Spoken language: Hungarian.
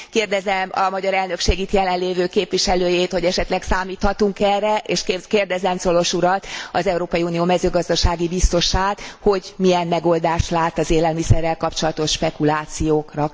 Kérdezem a magyar elnökség itt jelenlévő képviselőjét, hogy esetleg számíthatunk e erre, és kérdezem Cioloş urat az Európa Unió mezőgazdasági biztosát, hogy milyen megoldást lát az élelmiszerrel kapcsolatos spekulációkra.